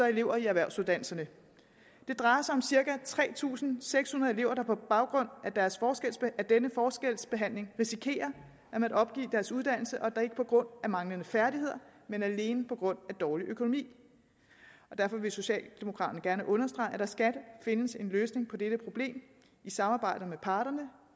elever i erhvervsuddannelserne det drejer sig om cirka tre tusind seks hundrede elever der på baggrund af denne forskelsbehandling risikerer at måtte opgive deres uddannelse og da ikke på grund af manglende færdigheder men alene på grund af dårlig økonomi derfor vil socialdemokraterne gerne understrege at der skal findes en løsning på dette problem i samarbejde med parterne